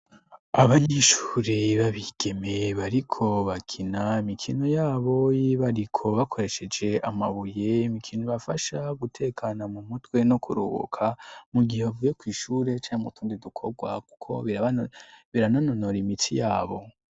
abanyishuri babigeme bariko bakina mikino yabo y'ibibariko bakoresheje amabuye imikino bafasha gutekana mu mutwe no kuruhuka mu gihe bavuye kw' ishure canke mutundi dukorwa kuko birananonora imitsi yabo